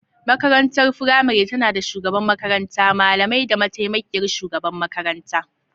Makarantar firamare tana da shugaban makaranta, malamai, da mataimakiyar shugaban makaranta.